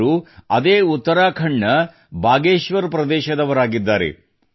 ಇವರು ಅದೇ ಉತ್ತರಾಖಂಡ್ ನ ಬಾಗೇಶ್ವರ್ ಪ್ರದೇಶದವರಾಗಿದ್ದಾರೆ